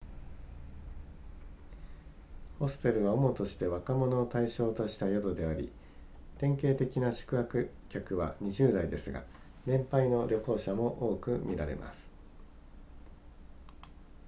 ホステルは主として若者を対象とした宿であり典型的な宿泊客は20代ですが年配の旅行者も多く見られます